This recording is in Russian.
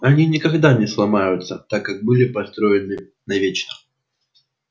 они никогда не сломаются так как были построены навечно